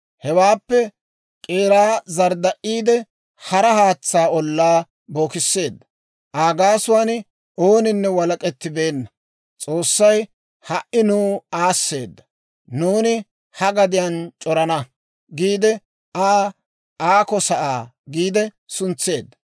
Hewaappe guutsaa zardda''iide, hara haatsaa ollaa bookisseedda; Aa gaasuwaan ooninne walak'ettibeenna; «S'oossay ha"i nuw aasseeda; nuuni ha gadiyaan c'oraana» giide Aa, «Aako sa'aa» giide suntseedda.